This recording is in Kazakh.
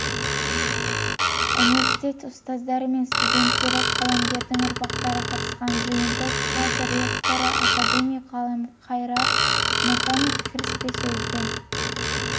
университет ұстаздары мен студенттері қаламгердің ұрпақтары қатысқан жиынды қаз ректоры академик ғалымқайыр мұтанов кіріспе сөзбен